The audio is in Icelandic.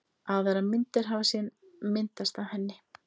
Aðrar myndir hafi síðan myndast af henni.